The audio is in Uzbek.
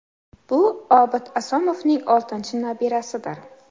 Bu Obid Asomovning oltinchi nabirasidir.